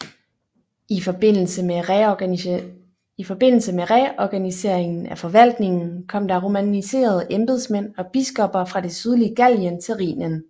I forbindelse med reorganiseringen af forvaltningen kom der romaniserede embedsmænd og biskopper fra det sydlige Gallien til Rhinen